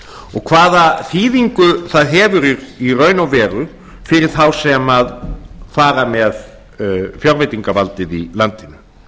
og hvaða þýðingu það hefur í raun og veru fyrir þá sem fara með fjárveitingavaldið í landinu